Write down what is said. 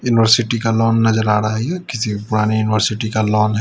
University का lawn नजर आ रहा है ये किसी पुरानी यूनिवर्सिटी का लॉन है।